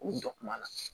K'u jɔ kuma na